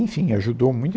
Enfim, ajudou muito.